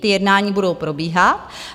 Ta jednání budou probíhat.